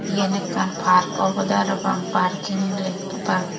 eyen ekkan park obodeh parapang parking lek park.